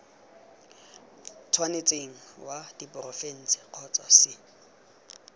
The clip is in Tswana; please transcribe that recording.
tshwanetseng wa diporofense kgotsa c